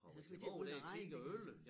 Ja så skal vi til at begynde at regne det kan vi